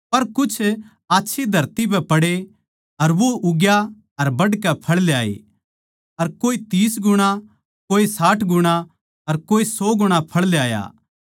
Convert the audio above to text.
पर कुछ आच्छी धरती पै पड़े अर वो उग्या अर बढ़कै फळ ल्याये अर कोए तीस गुणा कोए साठ गुणा अर कोए सौ गुणा फळ ल्याया